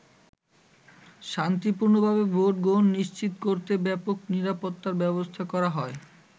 শান্তিপূর্ণভাবে ভোট গ্রহণ নিশ্চিত করতে ব্যাপক নিরাপত্তার ব্যবস্থা করা হয়।